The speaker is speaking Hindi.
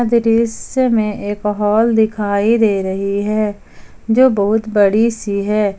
दृश्य में एक हाल दिखाई दे रही है जो बहुत बड़ी सी है।